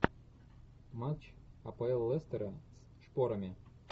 матч апл лестера с шпорами